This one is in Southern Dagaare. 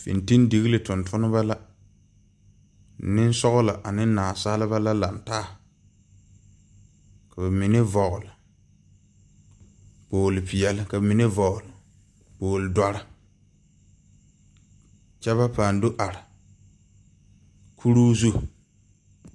Fintildigilii tontonnema la neŋsɔglɔ ane naasaliba la lang taa ka ba mine vɔgle kpogle peɛɛli ka ba mine vɔgle kpogle dɔre kyɛ ba pãã do are kuruu zu.